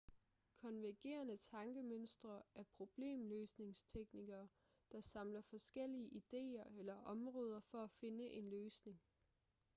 konvergerende tankemønstre er problemløsningsteknikker der samler forskellige idéer eller områder for at finde en løsning